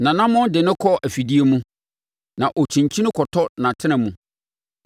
Nʼanammɔn de no kɔ afidie mu, na ɔkyinkyini kɔtɔ nʼatena mu.